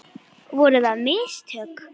Voru það mistök?